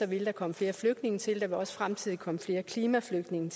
vil der komme flere flygtninge til og der vil også fremtidigt komme flere klimaflygtninge